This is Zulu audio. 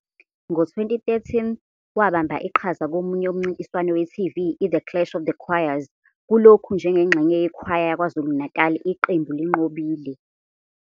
Ngo-2013, wabamba iqhaza komunye umncintiswano we-TV, i- "The Clash of the Choirs", kulokhu njengengxenye yekhwaya yaKwa-Zulu Natal, iqembu linqobile.